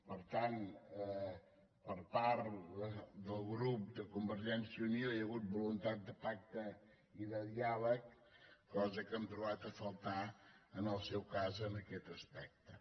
per tant per part del grup de convergèn·cia i unió hi ha hagut voluntat de pacte i de diàleg cosa que hem trobat a faltar en el seu cas en aquest aspecte